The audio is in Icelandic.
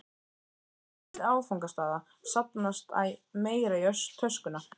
leiðinni milli áfangastaða safnast æ meira í töskuna.